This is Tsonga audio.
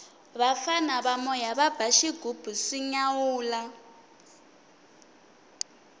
vafana va moya va ba xighubu swi nyawula